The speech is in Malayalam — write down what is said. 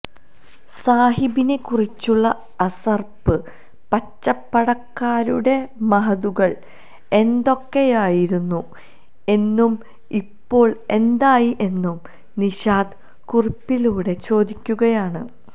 സാഹിബിനെ കുറിച്ചുള്ള അസര്പ്പ് പച്ചപടക്കാരുടെ മഹദുകള് എന്തോക്കെയായിരുന്നു എന്നും ഇപ്പോള് എന്തായി എന്നും നിഷാദ് കുറിപ്പിലൂടെ ചോദിക്കുകയാണ്